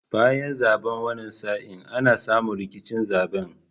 Bayan zaben wani sa'in ana samu rikicin zaben